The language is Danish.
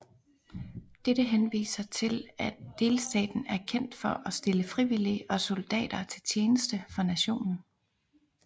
Dette henviser til at delstaten er kendt for at stille frivillige og soldater til tjeneste for nationen